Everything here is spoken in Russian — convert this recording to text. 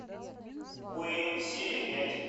уэйн серия пять